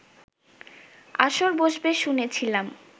আসর বসবে শুনেছিলাম